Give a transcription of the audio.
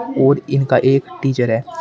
और इनका एक टीचर है।